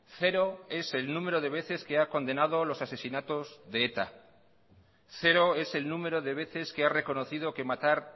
cero es el número de veces que ha condenado los asesinatos de eta cero es el número de veces que ha reconocido que matar